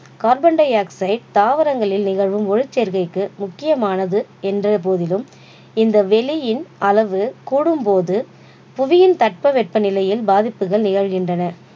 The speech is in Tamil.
carbon dioxide தாவரங்களில் நிகழும் ஒளிச்சேர்க்கைக்கு முக்கியமானது என்ற போதிலும் இந்த வெளியின் அளவு கூடும் போது புவியின் தட்ப வெட்ப நிலையில் பாதிப்புகள் நிகழ்கின்றன